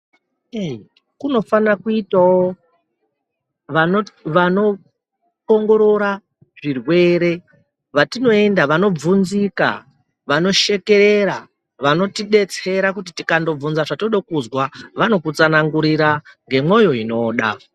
Eeee, kunofana kuyitawo vanoti vanoongorora zvirwere, vatinoenda ,vanobvunzika, vanoshekerera, vanotidetsera, kuti tikandobvunza zvatinoda kuzwa, vanokutsanangurira ngemwoyo yinoda.